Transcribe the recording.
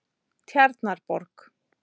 Tjarnarborg